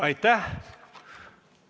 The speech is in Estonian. Aitäh!